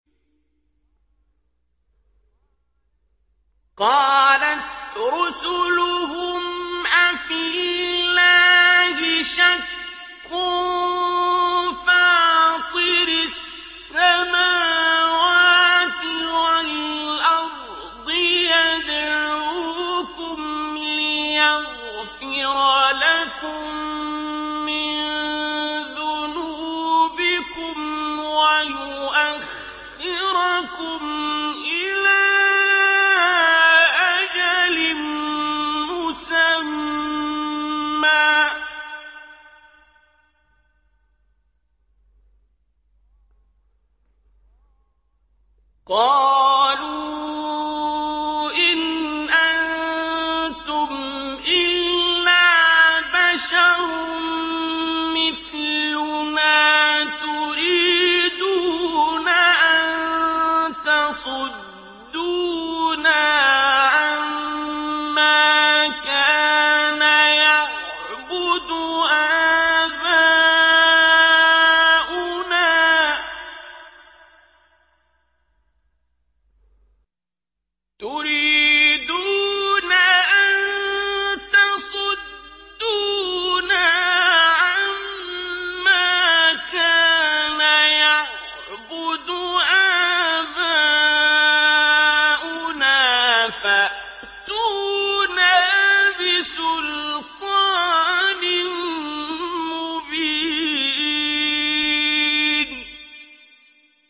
۞ قَالَتْ رُسُلُهُمْ أَفِي اللَّهِ شَكٌّ فَاطِرِ السَّمَاوَاتِ وَالْأَرْضِ ۖ يَدْعُوكُمْ لِيَغْفِرَ لَكُم مِّن ذُنُوبِكُمْ وَيُؤَخِّرَكُمْ إِلَىٰ أَجَلٍ مُّسَمًّى ۚ قَالُوا إِنْ أَنتُمْ إِلَّا بَشَرٌ مِّثْلُنَا تُرِيدُونَ أَن تَصُدُّونَا عَمَّا كَانَ يَعْبُدُ آبَاؤُنَا فَأْتُونَا بِسُلْطَانٍ مُّبِينٍ